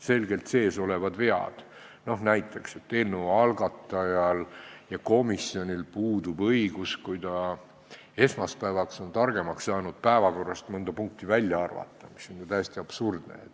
Näiteks see, et kuigi eelnõu algataja või komisjon võib olla esmaspäevaks targemaks saanud, puudub tal õigus päevakorrast mõnda punkti välja arvata, mis on ju täiesti absurdne.